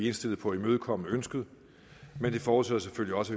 indstillet på at imødekomme ønsket men det forudsætter selvfølgelig også